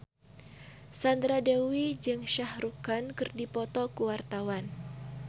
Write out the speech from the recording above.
Sandra Dewi jeung Shah Rukh Khan keur dipoto ku wartawan